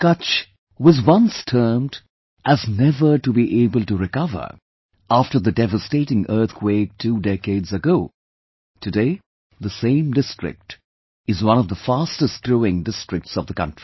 Kutch, was once termed as never to be able to recover after the devastating earthquake two decades ago... Today, the same district is one of the fastest growing districts of the country